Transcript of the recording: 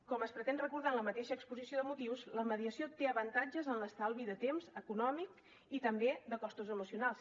com es pretén recordar en la mateixa exposició de motius la mediació té avantatges en l’estalvi de temps econòmic i també de costos emocionals